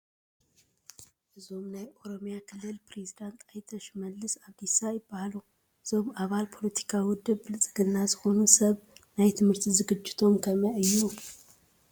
እዞም ናይ ኦሮሚያ ክልል ፕሬዚደንት ኣይተ ሽመልስ ኣብዲሳ ይበሃሉ፡፡ እዞም ኣባል ፖለቲካዊ ውድብ ብልፅግና ዝኾኑ ሰብ ናይ ትምህርቲ ዝግጅቶም ከመይይ እዩ?